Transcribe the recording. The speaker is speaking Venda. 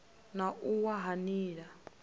na u wa ha nila